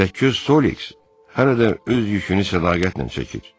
Təkköz Sox hələ də öz yükünü sədaqətlə çəkir.